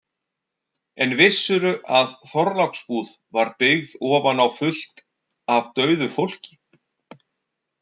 En vissirðu að Þorláksbúð var byggð ofan á fullt af dauðu fólki?